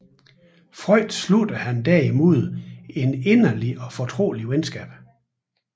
Freund sluttede han derimod et inderligt og fortroligt venskab